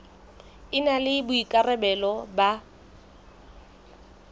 e na le boikarabelo ba